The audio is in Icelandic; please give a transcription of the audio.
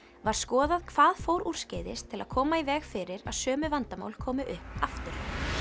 var skoðað hvað fór úrskeiðis til að koma í veg fyrir að sömu vandamál komi upp aftur